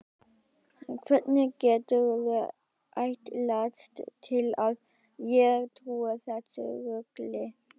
Hvernig geturðu ætlast til að ég trúi þessu rugli?